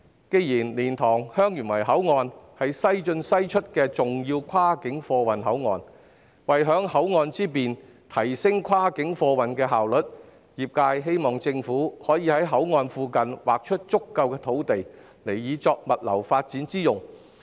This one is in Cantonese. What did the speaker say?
既然蓮塘/香園圍口岸是"西進西出"的重要跨境貨運口岸，為享口岸之便，提升跨境貨運的效率，業界希望政府可以在口岸附近劃出足夠土地，以作物流發展之用。